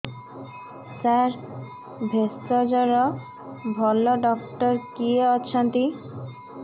ସାର ଭେଷଜର ଭଲ ଡକ୍ଟର କିଏ ଅଛନ୍ତି